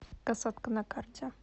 касатка на карте